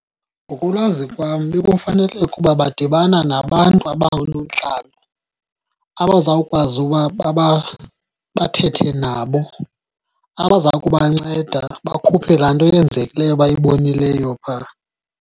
Ngokolwazi kwam bekufaneke ukuba badibana nabantu abangoonontlalo abazawukwazi uba bathethe nabo, abaza kubanceda bakhuphe laa nto yenzekileyo bayibonileyo pha.